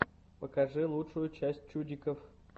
покажи лучшую часть чуддиков